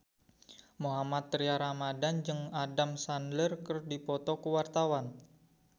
Mohammad Tria Ramadhani jeung Adam Sandler keur dipoto ku wartawan